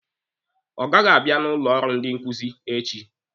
Ọ gaghị abịa n'ụlọ ọrụ ndị nkuzi echi.